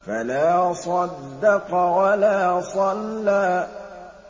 فَلَا صَدَّقَ وَلَا صَلَّىٰ